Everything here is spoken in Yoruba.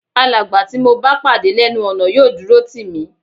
Alàgbà tí mo bá pàdé lẹ́nu ọ̀nà yóò dúró tì mí